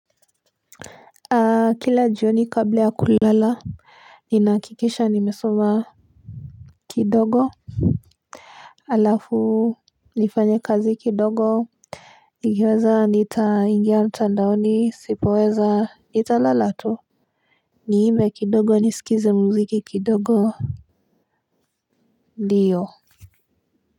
Aa kila jioni kabla ya kulala ninakikisha nimesoma kidogo alafu nifanye kazi kidogo nikiweza nita ingia mtandaoni sipaweza nita lala tu niimbe kidogo nisikize mziki kidogo ndiyo. Kwa hivyo.